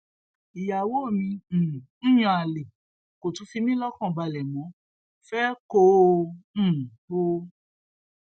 ìyàwó mi um ń yan àlè kó tún fi mí lọkàn balẹ mọ fee kó um o